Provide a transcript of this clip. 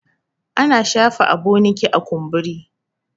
ana shafa aboniki a kumburi